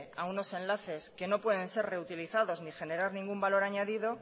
a unos enlaces que no pueden ser reutilizados ni general ningún valor añadido